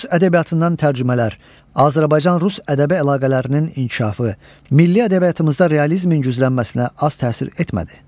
Rus ədəbiyyatından tərcümələr, Azərbaycan-rus ədəbi əlaqələrinin inkişafı milli ədəbiyyatımızda realizmin güclənməsinə az təsir etmədi.